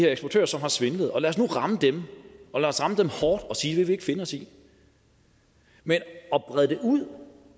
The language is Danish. eksportører som har svindlet lad os nu ramme dem og lad os ramme dem hårdt og sige vil vi ikke finde os i men at brede det ud